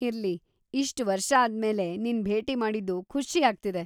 ಇರ್ಲಿ, ಇಷ್ಟ್ ವರ್ಷಾದ್ಮೇಲೆ ನಿನ್‌ ಭೇಟಿ ಮಾಡಿದ್ದು ಖುಷೀ ಆಗ್ತಿದೆ.